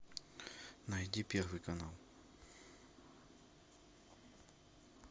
найди первый канал